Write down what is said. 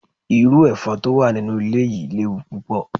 Iru efon to wa ninu ile yii lewu pupo